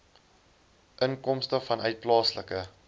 inkomste vanuit plaaslike